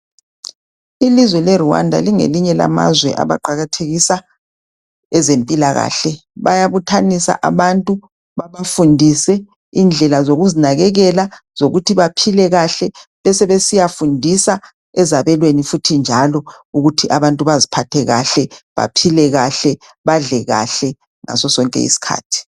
ilizwe le Rwanda lingelinye lamanye amazwe abaqakathekisa ezempilakahle bayabuthanisa abantu babafundise indlela zokuzinakkela zokuthi baphile kahle besebesiya fundisa ezabelweni njalo ukuthi abantun baziphathe kahle badle kahle ngaso sonke isikhathi